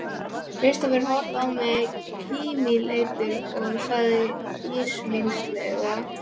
Kristófer horfði á mig kímileitur og sagði ísmeygilega